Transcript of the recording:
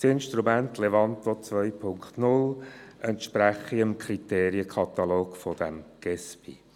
Das Instrument Levanto 2.0 entspreche dem Kriterienkatalog von Gesbi.